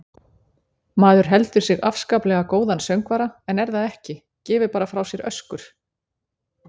Maður heldur sig afskaplega góðan söngvara en er það ekki, gefur bara frá sér öskur.